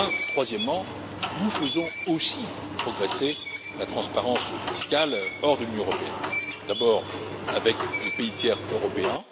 Troisièmement, nous faisons aussi progresser la transparence fiscale hors de l'Union européenne, d'abord avec les pays tiers européens.